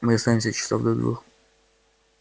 мы останемся часов до двух